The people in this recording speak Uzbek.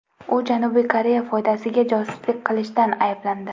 U Janubiy Koreya foydasiga josuslik qilishda ayblandi.